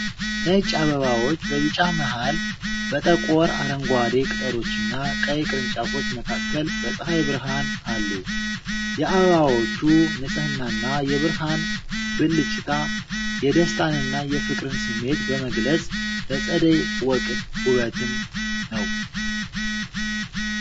ነጭ አበባዎች በቢጫ መሃል፣ በጠቆር አረንጓዴ ቅጠሎችና ቀይ ቅርንጫፎች መካከል በፀሐይ ብርሃን አሉ። የአበባዎቹ ንጽህናና የብርሃን ብልጭታ የደስታንና የፍቅርን ስሜት በመግለጽ ለፀደይ ወቅት ውበትን ነው።